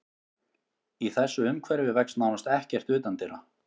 Í þessu umhverfi vex nánast ekkert utandyra.